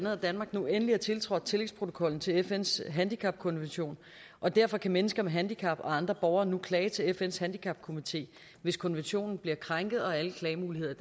at danmark nu endelig har tiltrådt tillægsprotokollen til fns handicapkonvention og derfor kan mennesker med handicap og andre borgere nu klage til fns handicapkomité hvis konventionen bliver krænket og alle klagemuligheder i